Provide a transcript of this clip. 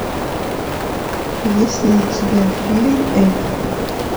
есть ли у тебя фильм эльф